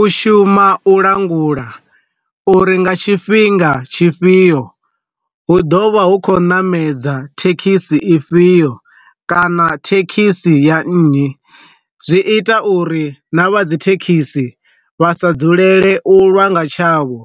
U shuma u langula u ri nga tshifhinga tshifhio hu ḓovha hu kho ṋamedza thekhisi i fhio kana thekhisi ya nnyi, zwi ita uri na vha dzi thekhisi vha sa dzulele u lwanga tshavho